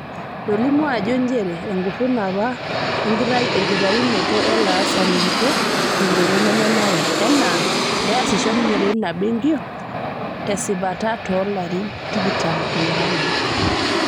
Etolimu ajoo njere enkuruna apa enkitayunoto o laasani kitok tenkoitoi nemenara enaa peesisho ninye teina benki tesipata toolarin tikitam onaudo.